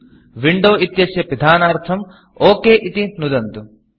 Windowविण्डो इत्यस्य पिधानार्थं OKओके इति नुदन्तु